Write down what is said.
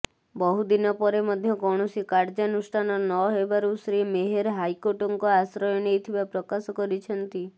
ବହୁଦିନ ପରେ ମଧ୍ୟ କୌଣସି କାର୍ଯ୍ୟାନୁଷ୍ଠାନ ନହେବାରୁ ଶ୍ରୀ ମେହେର ହାଇକୋର୍ଟଙ୍କ ଆଶ୍ରୟ ନେଇଥିବା ପ୍ରକାଶ କରିଛନ୍ତି